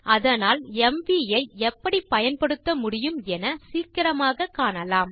அதனால் எம்வி ஐ எப்படி பயன்படுத்த முடியும் என சீக்கிரமாக காணலாம்